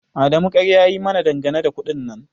Adamu ƙarya ya yi mana dangane da kuɗin nan